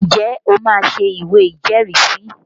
Ǹjẹ́ o máa ṣé ìwé ìjẹ́rìísí?